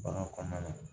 Bagan kɔnɔna na